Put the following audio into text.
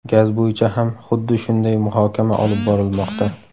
Gaz bo‘yicha ham xuddi shunday muhokama olib borilmoqda.